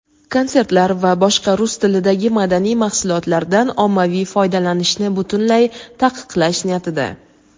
konsertlar va boshqa "rus tilidagi madaniy mahsulotlar"dan ommaviy foydalanishni butunlay taqiqlash niyatida.